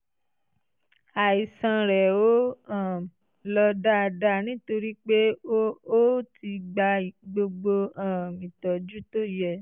àìsàn rẹ ò um lọ dáadáa nítorí pé o ò tíì gba gbogbo um ìtọ́jú tó yẹ